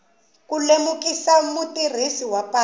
ku lemukisa mutirhisi wa patu